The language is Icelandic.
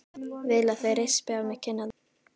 Vil að þeir rispi á mér kinnarnar.